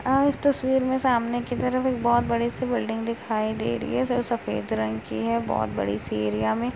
अ इस तस्वीर में सामने की तरफ एक बहोत बड़ी-सी बिल्डिंग दिखाई दे रही है जो सफेद रंग की है। बोहोत बड़ी-सी एरिया में।